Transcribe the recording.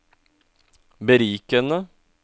berikende